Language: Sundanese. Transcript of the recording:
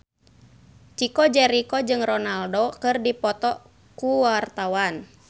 Chico Jericho jeung Ronaldo keur dipoto ku wartawan